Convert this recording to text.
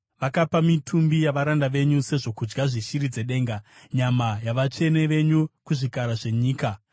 Vakapa mitumbi yavaranda venyu sezvokudya zveshiri dzedenga, nyama yavatsvene venyu kuzvikara zvenyika.